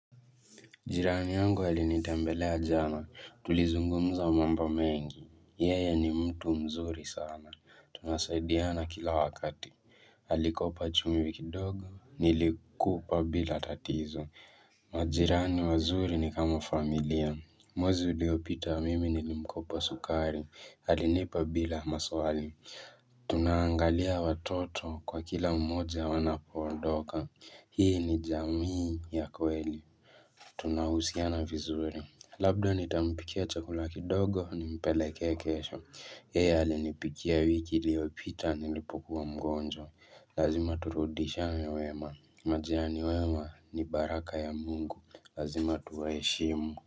Jirani yangu halinitembelea jana, tulizungumza mambo mengi, yeye ni mtu mzuri sana, tunasaidiana kila wakati, alikopa chumvi dogo, nilikupa bila tatizo. Majirani wazuri ni kama familia, mwezi uliopita mimi nilimkopa sukari, halinipa bila maswali. Tunangalia watoto kwa kila mmoja wanapoondoka Hii ni jamii ya kweli Tunahusiana vizuri Labda nitampikia chakula kidogo nimpeleke kesho yeye alinipikia wiki iliyopita nilipukuwa mgonjwa Lazima turudishiane wema Majirani wewa ni baraka ya mungu Lazima tuwa heshimu.